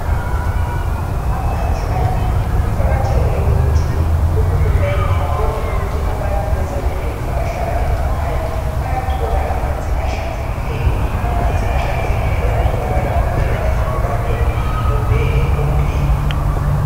Amanzi ayimpilo kuqakathekile ukuthi uHulumeni abone ukuthi abantu bezabelweni abahlala emakhaya bayathola amanzi ahlanzekileyo amanzi ahlanzekileyo atholakala kuphela ezibhoraneni kumbe empompini.